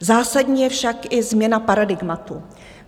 Zásadní je však i změna paradigmatu.